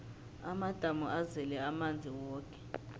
amadamu azele amanzi woke